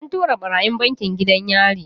An tura ɓarayin bankin gidan yari.